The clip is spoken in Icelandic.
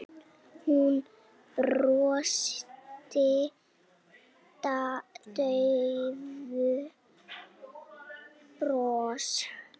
Hún brosti daufu brosi.